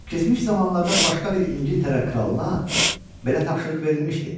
Keçmiş zamanlarda başqa bir İngiltərə kralına belə tapşırıq verilmişdi.